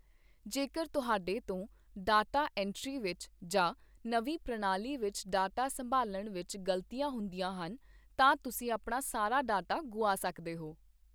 ਜੇਕਰ ਤੁਹਾਡੇ ਤੋਂ ਡਾਟਾ ਐਂਟਰੀ ਵਿੱਚ ਜਾਂ ਨਵੀਂ ਪ੍ਰਣਾਲੀ ਵਿੱਚ ਡਾਟਾ ਸੰਭਾਲਣ ਵਿੱਚ ਗ਼ਲਤੀਆਂ ਹੁੰਦੀਆਂ ਹਨ, ਤਾਂ ਤੁਸੀਂ ਆਪਣਾ ਸਾਰਾ ਡਾਟਾ ਗੁਆ ਸਕਦੇ ਹੋ।